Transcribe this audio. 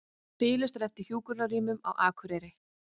Biðlistar eftir hjúkrunarrýmum á Akureyri